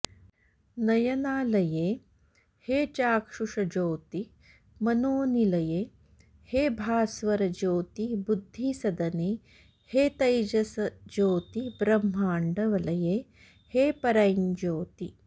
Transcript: नयनालये हे चाक्षुषज्योति मनोनिलये हे भास्वरज्योति बुद्धिसदने हे तैजसज्योति ब्रह्माण्ड वलये हे परञ्ज्योति